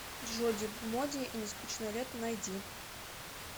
джоди моди и нескучное лето найди